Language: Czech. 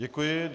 Děkuji.